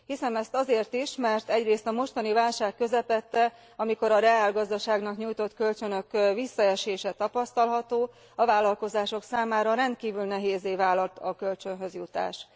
Hiszem ezt azért is, mert egyrészt a mostani válság közepette amikor a reálgazdaságnak nyújtott kölcsönök visszaesése tapasztalható a vállalkozások számára rendkívül nehézzé válhat a kölcsönhöz jutás.